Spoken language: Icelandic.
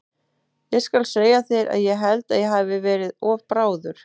Ég skal segja þér að ég held að ég hafi verið of bráður.